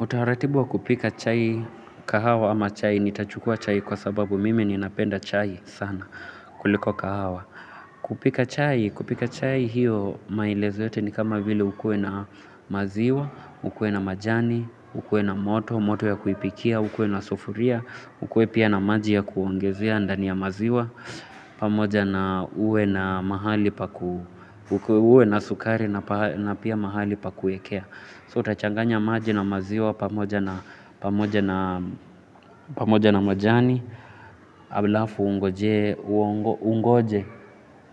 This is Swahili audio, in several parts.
Utaratibu wa kupika chai kahawa ama chai, nitachukua chai kwa sababu mimi ninapenda chai sana kuliko kahawa. Kupika chai, kupika chai hiyo maelezo yote ni kama vile ukuwe na maziwa, ukuwe na majani, ukuwe na moto, moto ya kuipikia, ukuwe na sufuria, ukuwe pia na maji ya kuongezea, ndani ya maziwa, pamoja na uwe na mahali pa ku. Uwe na sukari na pia mahali pa kuwekea. So utachanganya maji na maziwa pamoja na, pamoja pamoja na majani halafu ungojee, ungoje,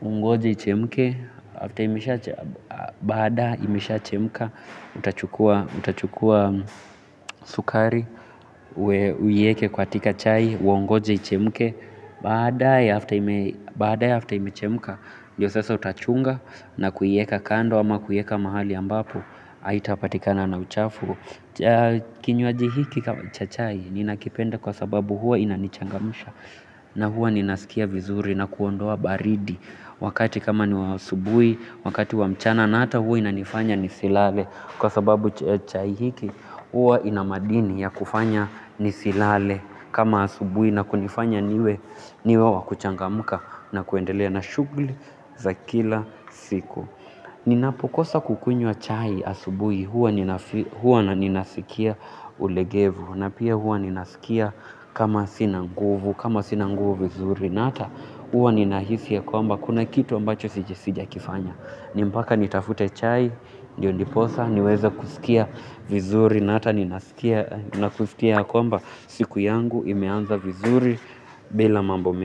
ungoje ichemke, baada imeshachemka utachukua utachukua sukari, uiweke katika chai, ungoje ichemke baada ya baada ya kuchemka, ndiyo sasa utachunga na kuiweka kando ama kuiweka mahali ambapo haitapatikana na uchafu, kinywaji hiki cha chai ninakipenda kwa sababu huwa kinanichangamsha na huwa ninasikia vizuri na kuondoa baridi wakati kama ni wa asubuhi wakati wa mchana na hata huwa inanifanya nisilale kwa sababu chai hiki huwa kina madini ya kufanya nisilale kama asubuhi na kunifanya niwe niwe wa kuchangamka na kuendelea na shughuli za kila siku ninapokosa kukunywa chai asubuhi huwa ninasikia ulegevu na pia huwa ninasikia kama sina nguvu kama sina nguvu vizuri na hata huwa ninahisi ya kwamba kuna kitu ambacho sijakifanya ni mpaka nitafute chai, ndiyo ndiposa niweze kusikia vizuri na hata ninasikia kwamba siku yangu imeanza vizuri bila mambo mingi.